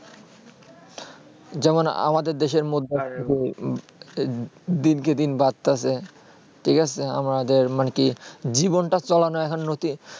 যেমন আমাদের দেশে মধ্যে দিন কে দিন বাড়তেছে ঠিক আছে আমাদের মানে কি জীবন তা চলানো এখন নীতি